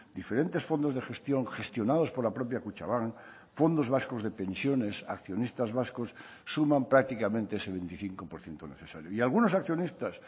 diferentes fondos de gestión gestionados por la propia kutxabank fondos vascos de pensiones accionistas vascos suman prácticamente ese veinticinco por ciento necesario y algunos accionistas